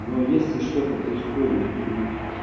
но если что-то происходит и